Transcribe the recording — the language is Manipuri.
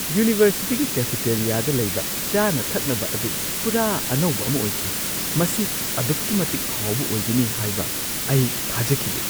ꯌꯨꯅꯤꯚꯔꯁꯤꯇꯤꯒꯤ ꯀꯦꯐꯦꯇꯦꯔꯤꯌꯥꯗ ꯂꯩꯕ ꯆꯥꯅ ꯊꯛꯅꯕ ꯑꯗꯨ ꯄꯨꯔꯥ ꯑꯅꯧꯕ ꯑꯃ ꯑꯣꯏꯈꯤ ꯫ ꯃꯁꯤ ꯑꯗꯨꯛꯀꯤ ꯃꯇꯤꯛ ꯍꯥꯎꯕ ꯑꯣꯏꯒꯅꯤ ꯍꯥꯏꯕ ꯑꯩ ꯊꯥꯖꯈꯤꯗꯦ ꯫